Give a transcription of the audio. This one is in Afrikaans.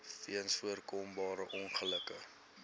weens voorkombare ongelukke